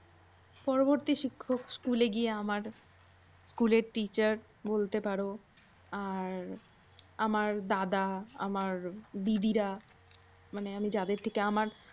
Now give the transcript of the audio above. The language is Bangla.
পরবরতি শিক্ষক স্কুলে গিয়ে আমার স্কুলের teacher বলতে পারো আর আমার দাদা। আমার দিদিরা। মানে আমি যাদের থেকে আমার।